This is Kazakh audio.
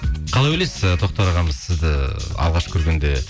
қалай ойлайсыз ы тоқтар ағамыз сізді алғаш көргенде